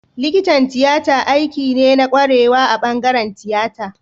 Likitan tiyata aiki ne na kwarewa a bangaren tiyata